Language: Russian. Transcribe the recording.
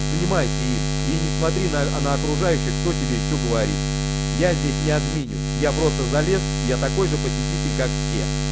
занимайся им и не смотри на на окружающих кто тебе и что говорит я здесь не админю я просто залез я такой же посетитель как все